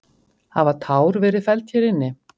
Hafa tár verið felld hér inni?